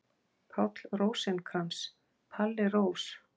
Páll Rósinkrans, Palli Rós.